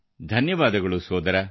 ಧನ್ಯವಾದಗಳು ಸರ್